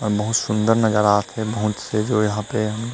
अऊ बहुत सुन्दर नजारा आत हे बहुत से जो यहाँ पे--